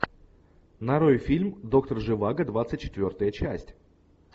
нарой фильм доктор живаго двадцать четвертая часть